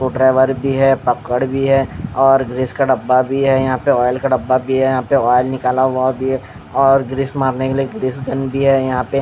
वो ड्राइवर भी है पकड़ भी है और ग्रीस का डब्बा भी है यहां पे ऑयल का डब्बा भी है यहां पे ऑयल निकला हुआ दिए और ग्रीस मारने के लिए ग्रीस गन भी है यहां पे।